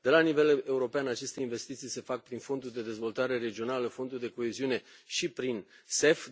La nivel european aceste investiții se fac prin Fondul de dezvoltare regională, Fondul de coeziune și prin MIE.